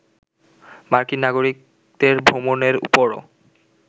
মার্কিন নাগরিকদের ভ্রমণের ওপরও